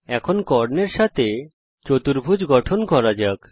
এখন কর্ণের সঙ্গে একটি চতুর্ভুজ গঠন করা যাক